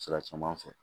Sira caman fɛ